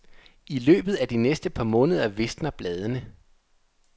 I løbet af de næste par måneder visner bladene.